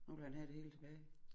Nu vil han have det hele tilbage